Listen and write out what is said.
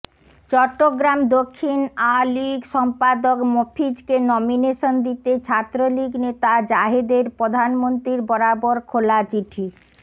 চট্রগ্রাম দক্ষিণ আঃলীগ সম্পাদক মফিজকে নমিনেশন দিতে ছাত্রলীগ নেতা জাহেদের প্রধানমন্ত্রীর বরাবর খোলা চিঠি